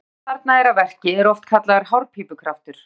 Krafturinn sem þarna er að verki er oft kallaður hárpípukraftur.